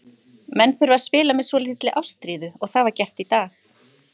Menn þurfa að spila með svolítilli ástríðu og það var gert í dag.